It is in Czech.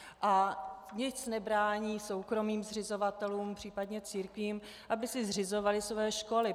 A nic nebrání soukromým zřizovatelům, případně církvím, aby si zřizovali své školy.